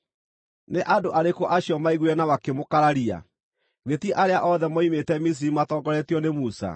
Nĩ andũ arĩkũ acio maaiguire na makĩmũkararia? Githĩ ti arĩa othe moimĩte Misiri matongoretio nĩ Musa?